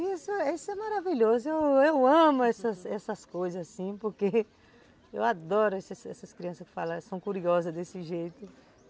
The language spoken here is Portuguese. Isso isso é maravilhoso, eu amo essas essas coisas assim, porque eu adoro essas essas crianças que falam, são curiosas desse jeito.